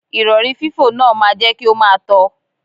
Ìrọ̀rí fífò náà máa jẹ́ kí o máa tọ.